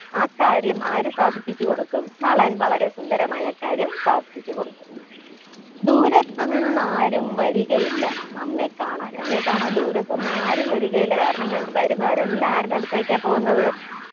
ആ കാര്യം ആര് സാധിപ്പിച്ച് കൊടുക്കും നളൻ വളരെ സുന്ദരമായി ആ കാര്യം സാധിപ്പിച്ച് കൊടുക്കും ദൂരത്ത് നിന്ന് ആരും വരികയില്ല നമ്മെ കാണാൻ എന്നെ കാണാൻ ദൂരത്ത് നിന്നും ആരും വരികയില്ല കാരണം എൻ വരുന്നവരെല്ലാം ആരുടെ അടുത്തേക്കാ പോകുന്നത്